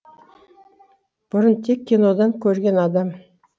бұрын тек кинодан көрген адам